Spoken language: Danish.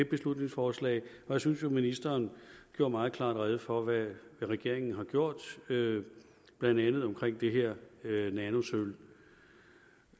beslutningsforslag og jeg synes at ministeren gjorde meget klart rede for hvad regeringen har gjort blandt andet omkring det her med nanosølv